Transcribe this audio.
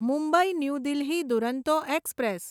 Mumbai new Delhi Duronto express